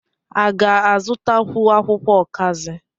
A ga-azụtakwu akwụkwọ ọkazị?